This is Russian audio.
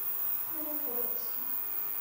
новохоперска